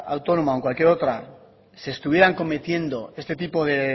autónoma o en cualquier otra se estuvieran cometiendo este tipo de